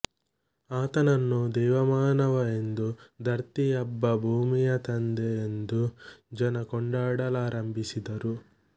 ಆತನನ್ನು ದೇವಮಾನವ ಎಂದೂ ಧರ್ತಿ ಅಬ್ಬಾ ಭೂಮಿಯ ತಂದೆ ಎಂದೂ ಜನ ಕೊಂಡಾಡಲಾರಂಭಿಸಿದರು